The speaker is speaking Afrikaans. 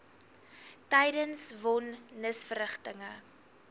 tydens von nisverrigtinge